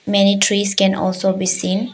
Many trees can also be seen.